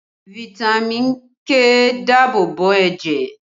Fitami k ń dáàbò bo ẹ̀jẹ̀